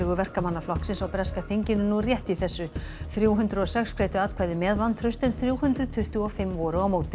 Verkamannaflokksins á breska þinginu nú rétt í þessu þrjú hundruð og sex greiddu atkvæði með vantrausti en þrjú hundruð tuttugu og fimm voru á móti